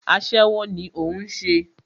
Aṣẹ́wó ní o ń ṣe.